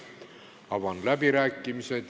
Avan läbirääkimised.